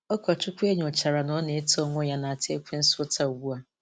Ụkọchukwu e nyochara na ọ na-eto n’onwe ya na-ata ekwensu ụta ugbu a.